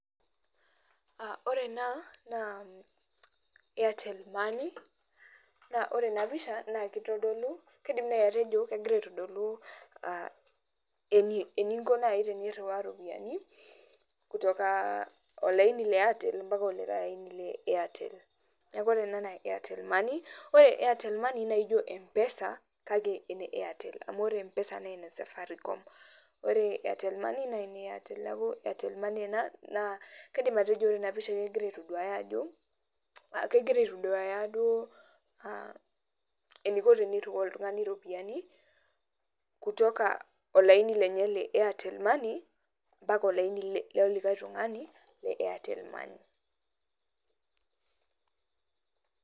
Ore ena, naa Airtel money, naa ore enapisha naa kitodolu kaidim nai atejo kegira aitodolu eninko nai tenirriwaa ropiyiani, kutoka olaini le Airtel mpaka olikae aini le Airtel. Neeku ore ena naa Airtel money, ore Airtel money na ijo M-PESA, kake ene Airtel. Amu ore M-PESA nene Safaricom. Ore Airtel money, nene Airtel. Neeku Airtel money, naa kaidim atejo ore enapisha kegira aitoduaya ajo, kegira aitoduaya duo eniko tenirriwaa oltung'ani ropiyiani, kutoka olaini lenye le Airtel money, mpaka olaini lolikae tung'ani, le Airtel money.